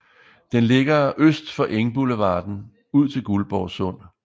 Den ligger øst for Engboulevarden ud til Guldborg Sund